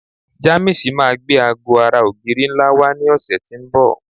Jamiisi máa gbé aago ara ogiri nla wa ni òsè ti n bò